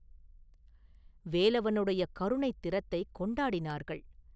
வேலவனுடைய கருணைத் திறத்தைக் கொண்டாடினார்கள்.